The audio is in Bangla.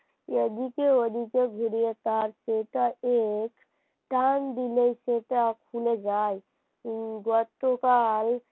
এদিকে ওদিকে ঘুরিয়ে তার খোঁজাইয়ের টান দিলে খুলে যায় গতকাল